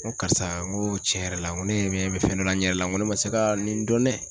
N ko karisa n ko cɛn yɛrɛ la n ko ne bɛ fɛn dɔ la n yɛrɛ la n ko ne ma se ka nin dɔn nɛ